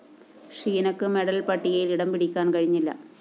ഷീനക്ക് medal പട്ടികയില്‍ ഇടംപിടിക്കാന്‍ കഴിഞ്ഞില്ല